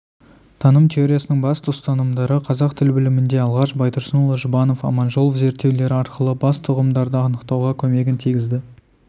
таным теориясының басты ұстанымдары қазақ тіл білімінде алғаш байтұрсынұлы жұбанов аманжолов зерттеулері арқылы басты ұғымдарды анықтауға көмегін тигізді